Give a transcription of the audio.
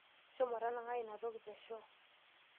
Shomo tanang'ai ino toki teshoo.